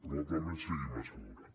probablement sigui massa d’hora